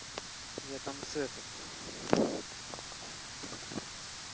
я там с этот